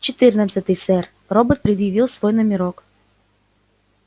четырнадцатый сэр робот предъявил свой номерок